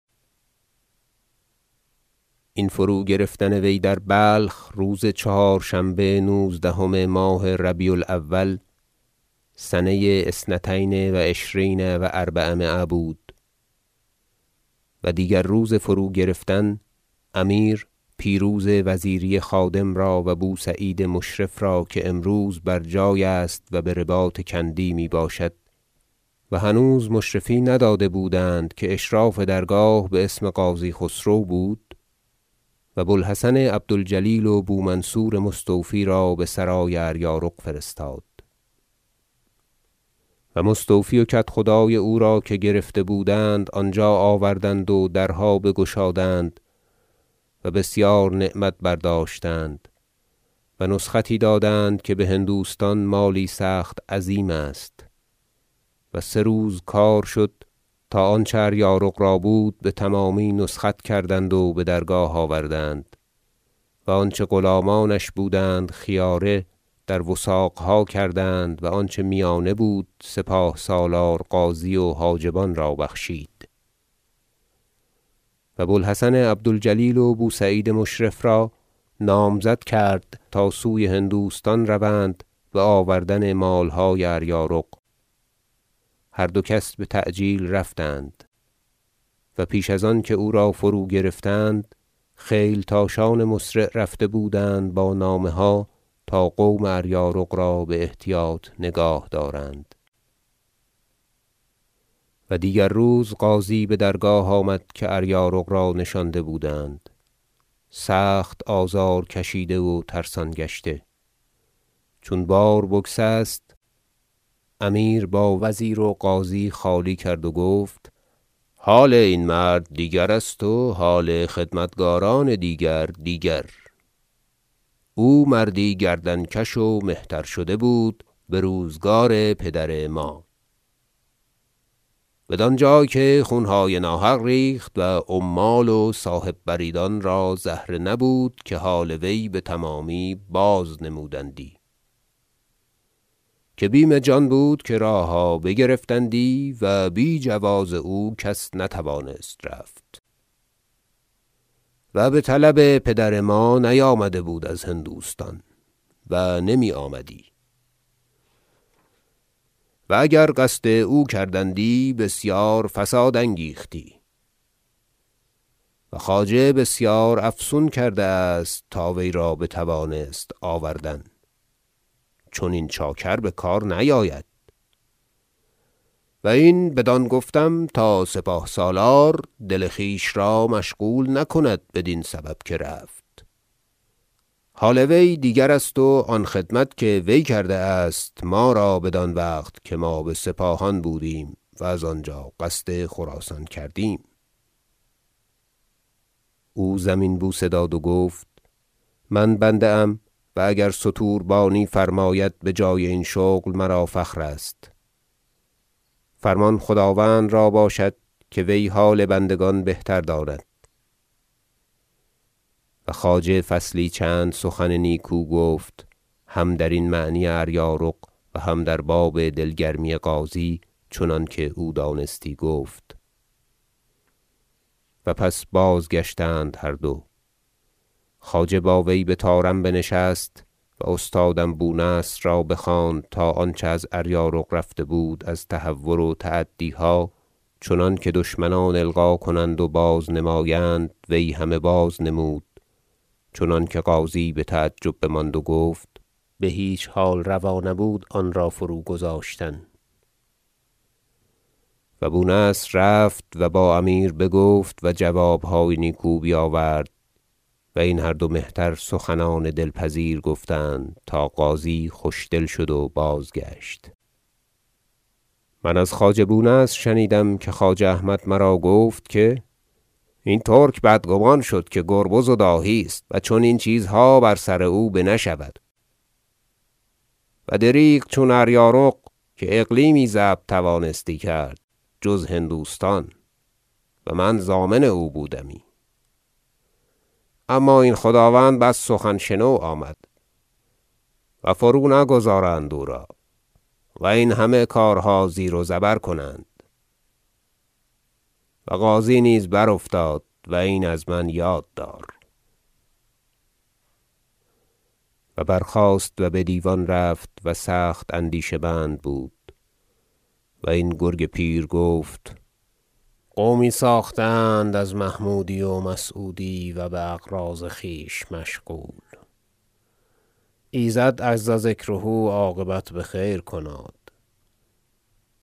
این فروگرفتن وی در بلخ روز چهارشنبه نوزدهم ماه ربیع الاول سنه اثنتین و عشرین و اربعمایه بود و دیگر روز فروگرفتن امیر پیروز وزیری خادم را و بو سعید مشرف را که امروز بر جای است و برباط کندی می باشد و هنوز مشرفی نداده بودند که اشراف درگاه باسم قاضی خسرو بود و بو الحسن عبد الجلیل و بو منصور مستوفی را بسرای اریارق فرستاد و مستوفی و کدخدای او را که گرفته بودند آنجا آوردند و درها بگشادند و بسیار نعمت برداشتند و نسختی دادند که بهندوستان مالی سخت عظیم است و سه روز کار شد تا آنچه اریارق را بود بتمامی نسخت کردند و بدرگاه آوردند و آنچه غلامانش بودند خیاره در وثاقها کردند و آنچه میانه بود سپاه سالار غازی و حاجبان را بخشید و بو الحسن عبد الجلیل و بو سعید مشرف را نامزد کرد تا سوی هندوستان روند بآوردن مالهای اریارق هر دو کس بتعجیل رفتند و پیش از آن که او را فروگرفتند خیلتاشان مسرع رفته بودند با نامه ها تا قوم اریارق را باحتیاط نگاه دارند و دیگر روز غازی بدرگاه آمد که اریارق را نشانده بودند سخت آزار کشیده و ترسان گشته چون باربگسست امیر با وزیر و غازی خالی کرد و گفت حال این مرد دیگر است و حال خدمتگاران دیگر دیگر او مردی گردن کش و مهتر شده بود بروزگار پدر ما بدان جای که خونهای ناحق ریخت و عمال و صاحب بریدان را زهره نبود که حال وی بتمامی بازنمودندی که بیم جان بود که راهها بگرفتندی و بی جواز او کس نتوانست رفت و بطلب پدر ما نیامده بود از هندوستان و نمی آمدی و اگر قصد او کردندی بسیار فساد انگیختی و خواجه بسیار افسون کرده است تا وی را بتوانست آوردن چنین چاکر بکار نیاید و این بدان گفتم تا سپاه سالار دل خویش را مشغول نکند بدین سبب که رفت حال وی دیگر است و آن خدمت که وی کرده است ما را بدان وقت که ما بسپاهان بودیم و از آنجا قصد خراسان کردیم او زمین بوسه داد و گفت من بنده ام و اگر ستوربانی فرماید بجای این شغل مرا فخرست فرمان خداوند را باشد که وی حال بندگان بهتر داند و خواجه فصلی چند سخن نیکو گفت هم در معنی اریارق و هم در باب دل گرمی غازی چنانکه او دانستی گفت و پس بازگشتند هر دو خواجه با وی بطارم بنشست و استادم بو نصر را بخواند تا آنچه از اریارق رفته بود از تهور و تعدیها چنانکه دشمنان القا کنند و بازنمایند وی همه بازنمود چنانکه غازی بتعجب ماند و گفت بهیچ حال روا نبود آنرا فروگذاشتن و بو نصر رفت و با امیر بگفت و جوابهای نیکو بیاورد و این هر دو مهتر سخنان دلپذیر گفتند تا غازی خوش دل شد و بازگشت من از خواجه بو نصر شنیدم که خواجه احمد مرا گفت که این ترک بدگمان شد که گربز و داهی است و چنین چیزها بر سر او بنشود و دریغ چون اریارق که اقلیمی ضبط توانستی کرد جز هندوستان و من ضامن او بودمی اما این خداوند بس سخن شنو آمد و فرونگذارند او را و این همه کارها زیر و زبر کنند و غازی نیز برافتاد و این از من یاد دار و برخاست و بدیوان رفت و سخت اندیشه مند بود و این گرگ پیر گفت قومی ساخته اند از محمودی و مسعودی و باغراض خویش مشغول ایزد عزذکره عاقبت بخیر کناد